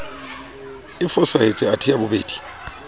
e fosahetse athe ya bobedi